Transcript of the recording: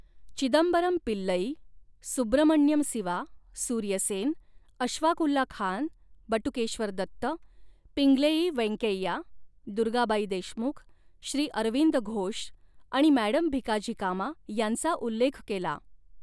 चिदंबरम पिल्लई, सुब्रमण्यम सिवा, सुर्य सेन, अशफाकउल्ला खान, बटुकेश्वर दत्त, पिंगलेई वेंकेय्या, दुर्गाबाई देशमुख, श्री अरविंद घोष आणि मॅडम भिकाजी कामा यांचा उल्लेख केला.